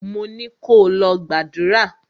Mo ni kò lọ gbàdúrà!